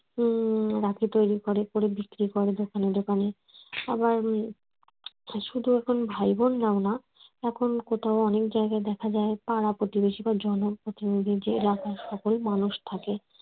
উম রাখি তৈরি করে করে বিক্রি করে দোকানে দোকানে আবার শুধু এখন ভাই বোন রাই না এখন কোথাও অনেক জায়গায় দেখা যায় পাড়া-প্রতিবেশী বা জনপ্রতিনিধি যারা থাকে সকল মানুষ থাকে